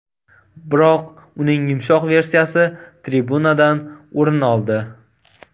Biroq uning yumshoq versiyasi tribunadan o‘rin oldi.